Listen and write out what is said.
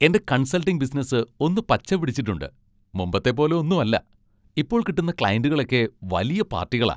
എൻ്റെ consulting business ഒന്ന് പച്ചപിടിച്ചിട്ടുണ്ട്. മുമ്പത്തെ പോലെ ഒന്നും അല്ല, ഇപ്പോൾ കിട്ടുന്ന ക്ലയന്റുകളൊക്കെ വലിയ പാർട്ടികളാ.